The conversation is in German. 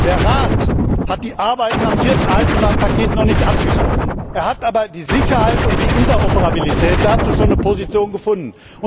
Der Rat hat die Arbeiten am vierten Eisenbahnpaket noch nicht abgeschlossen, er hat aber zur Sicherheit und zur Interoperabilität schon eine Position